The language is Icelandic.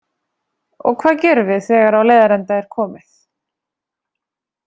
Og hvað gerum við þegar á leiðarenda er komið?